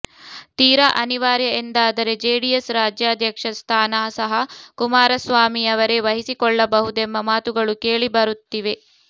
ತೀರಾ ಅನಿವಾರ್ಯ ಎಂದಾದರೆ ಜೆಡಿಎಸ್ ರಾಜ್ಯಾಧ್ಯಕ್ಷ ಸ್ಥಾನ ಸಹ ಕುಮಾರಸ್ವಾಮಿಯವರೇ ವಹಿಸಿಕೊಳ್ಳಬಹುದೆಂಬ ಮಾತುಗಳು ಕೇಳಿಬರುತ್ತಿವೆ